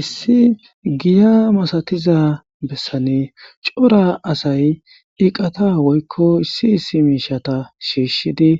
Issi giya masatiza bessane cora asay iqata woykko issi issi miishata shiishshidi